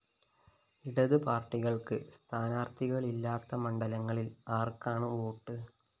ഇടത്പാര്‍ട്ടികള്‍ക്ക് സ്ഥാനാര്‍ത്ഥികളില്ലാത്ത മണ്ഡലങ്ങളില്‍ ആര്‍ക്കാണ് വോട്ട്?